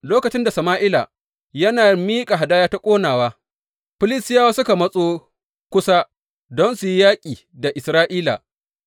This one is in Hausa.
Lokacin da Sama’ila yana miƙa hadaya ta ƙonawa, Filistiyawa suka matso kusa don su yi yaƙi da Isra’ila.